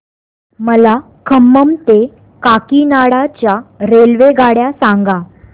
मला खम्मम ते काकीनाडा च्या रेल्वेगाड्या सांगा